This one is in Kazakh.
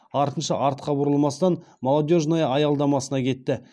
артынша артқа бұрылмастан молодежная аялдамасына кетті